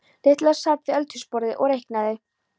Lilla sat við eldhúsborðið og reiknaði.